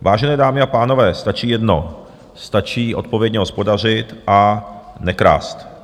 Vážené dámy a pánové, stačí jedno - stačí odpovědně hospodařit a nekrást.